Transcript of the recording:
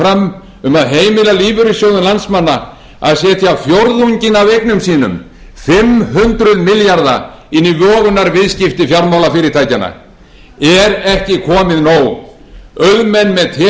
fram um að heimila lífeyrissjóðum landsmanna að setja fjórðunginn af eignum sínum fimm þúsund milljarða inn í vogunarviðskipti fjármálafyrirtækjanna er ekki komið nóg auðmenn með tekjur